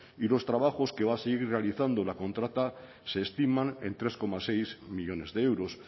y los trabajos que va a seguir realizando la contrata se estiman en tres coma seis millónes de euros